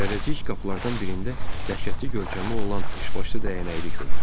Zərrəcik qapılardan birində dəhşətli görkəmi olan üçbaşlı dəyənəkli gördü.